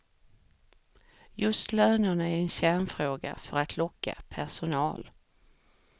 Just lönerna är en kärnfråga för att locka personal.